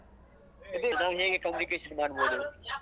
ನಾವು ಹೇಗೆ communication ಮಾಡ್ಬೋದು.